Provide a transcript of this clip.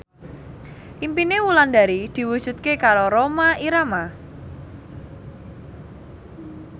impine Wulandari diwujudke karo Rhoma Irama